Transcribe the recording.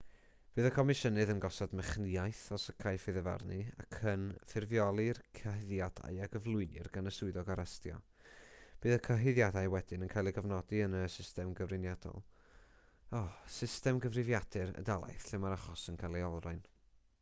bydd y comisiynydd yn gosod mechnïaeth os caiff ei ddyfarnu ac yn ffurfioli'r cyhuddiadau a gyflwynir gan y swyddog arestio bydd y cyhuddiadau wedyn yn cael eu cofnodi yn system gyfrifiadur y dalaith lle mae'r achos yn cael ei olrhain